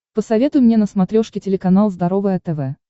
посоветуй мне на смотрешке телеканал здоровое тв